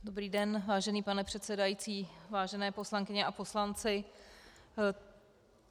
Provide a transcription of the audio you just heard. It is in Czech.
Dobrý den, vážený pane předsedající, vážené poslankyně a poslanci.